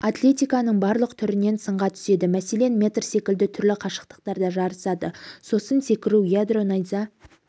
атлетиканың барлық түрінен сынға түседі мәселен метр секілді түрлі қашықтықтарда жарысады сосын секіру ядро найза